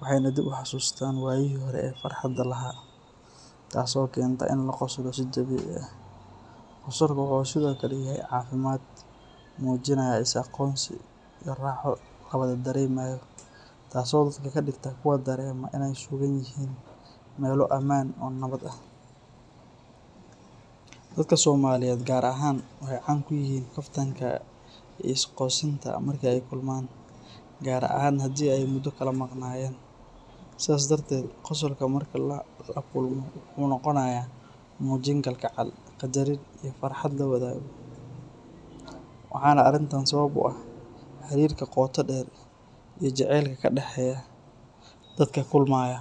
waxayna dib u xasuustaan waayihii hore ee farxadda lahaa, taasoo keenta in la qoslo si dabiici ah. Qosolku wuxuu sidoo kale yahay calaamad muujinaysa is-aqoonsi iyo raaxo la wada dareemayo, taasoo dadka ka dhigta kuwo dareema inay ku sugan yihiin meel ammaan ah oo nabad ah. Dadka Soomaaliyeed gaar ahaan waxay caan ku yihiin kaftanka iyo isqosinta marka ay kulmaan, gaar ahaan haddii ay muddo kala maqnaayeen. Sidaas darteed, qosolka marka la kulmo wuxuu noqonayaa muujin kalgacal, qaddarin iyo farxad la wadaago, waxaana arrintan sabab u ah xiriirka qoto dheer iyo jacaylka ka dhexeeya dadka kulmaya.